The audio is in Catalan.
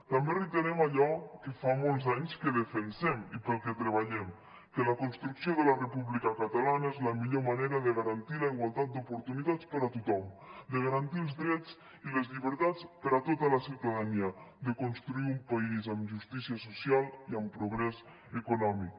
també reiterem allò que fa molts anys que defensem i per al que treballem que la construcció de la república catalana és la millor manera de garantir la igualtat d’oportunitats per a tothom de garantir els drets i les llibertats per a tota la ciutadania de construir un país amb justícia social i amb progrés econòmic